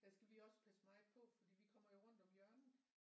Der skal vi også passe meget på fordi vi kommer jo rundt om hjørnet